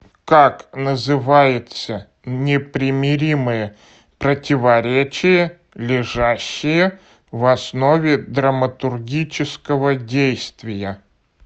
как называется непримиримое противоречие лежащее в основе драматургического действия